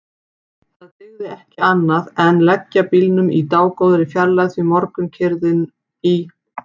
Það dygði ekki annað en leggja bílnum í dágóðri fjarlægð því morgunkyrrð í